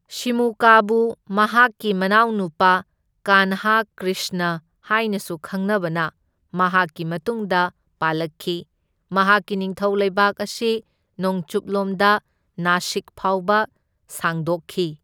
ꯁꯤꯃꯨꯀꯥꯕꯨ ꯃꯍꯥꯛꯀꯤ ꯃꯅꯥꯎꯅꯨꯄꯥ ꯀꯥꯟꯍꯥ ꯀ꯭ꯔꯤꯁꯅ ꯍꯥꯏꯅꯁꯨ ꯈꯪꯅꯕꯅ ꯃꯍꯥꯛꯀꯤ ꯃꯇꯨꯡꯗ ꯄꯥꯜꯂꯛꯈꯤ, ꯃꯍꯥꯛꯀꯤ ꯅꯤꯡꯊꯧ ꯂꯩꯕꯥꯛ ꯑꯁꯤ ꯅꯣꯡꯆꯨꯞꯂꯣꯝꯗ ꯅꯥꯁꯤꯛ ꯐꯥꯎꯕ ꯁꯥꯡꯗꯣꯛꯈꯤ꯫